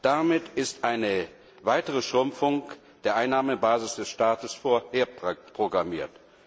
Damit ist eine weitere Schrumpfung der Einnahmebasis des Staates vorprogrammiert.